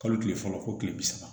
Kalo tile fɔlɔ fo kile bi saba